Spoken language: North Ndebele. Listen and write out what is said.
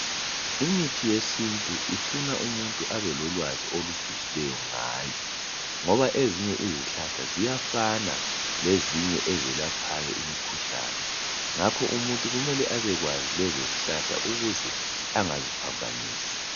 Imithi yesiNtu ifuna umuntu abelolwazi olujulileyo ngayo ngoba ezinye ziyafana lalezo ezelapha imikhuhlane ngakho kumele umuntu azazi ukuthi angaziphambanisi.